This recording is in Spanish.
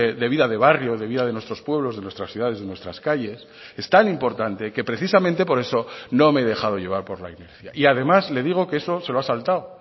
de vida de barrio de vida de nuestros pueblos de nuestras ciudades de nuestras calles es tan importante que precisamente por eso no me he dejado llevar por la inercia y además le digo que eso se lo ha saltado